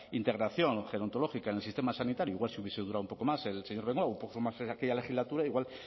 integración gerontológica en el sistema sanitario igual si hubiese durado un poco más el señor bengoa un poco más en aquella legislatura igual